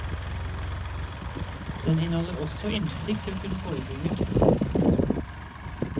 Den inneholder også innsikt i å kunne forebygge.